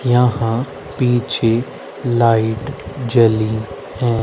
यहां पीछे लाइट जली है।